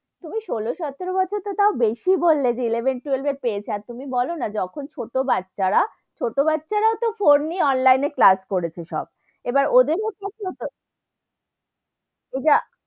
তুমি ষোলো সতেরো বছর তো টাও বেশি বললে, যে eleven twelve এ পেয়ে যাই, আর তুমি বোলো না যখন ছোটো বাচ্চা রা, ছোটো বাচ্চা রাও তো ফোন নিয়ে online এ class করেছে সব, এবার ওদের মধ্যে ইটা,